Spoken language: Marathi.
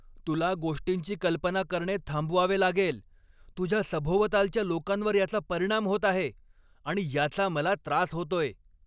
तुला गोष्टींची कल्पना करणे थांबवावे लागेल. तुझ्या सभोवतालच्या लोकांवर याचा परिणाम होत आहे आणि याचा मला त्रास होतोय.